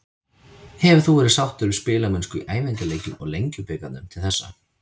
Hefur þú verið sáttur við spilamennskuna í æfingaleikjum og Lengjubikarnum til þessa?